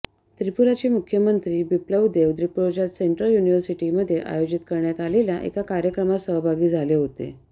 त्रिपुराचे मुख्यमंत्री बिप्लब देब त्रिपुराच्या सेंट्रल युनिव्हर्सिटीमध्ये आयोजित करण्यात आलेल्या एका कार्यक्रमात सहभागी झाले होते